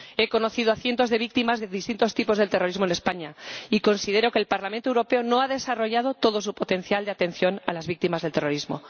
He conocido a cientos de víctimas de distintos tipos de terrorismo en España y considero que el Parlamento Europeo no ha desarrollado todo su potencial de atención a las víctimas del terrorismo.